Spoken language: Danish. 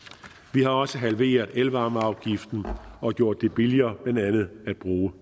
vi har også halveret elvarmeafgiften og gjort det billigere at bruge